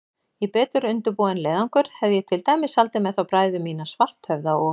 Í betur undirbúinn leiðangur hefði ég til dæmis haldið með þá bræður mína, Svarthöfða og